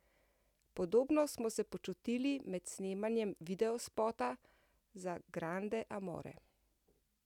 Podobno smo se počutili med snemanjem videospota za Grande Amore.